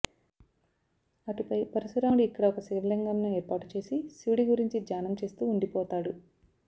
అటు పై పరుశరాముడు ఇక్కడ ఒక శివలింగం ను ఏర్పాటు చేసి శివుడి గురించి ధ్యానం చేస్తూ ఉండిపోతాడు